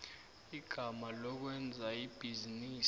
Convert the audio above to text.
igama lokwenza ibhizinisi